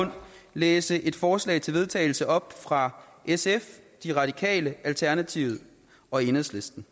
læse et forslag til vedtagelse op fra sf de radikale alternativet og enhedslisten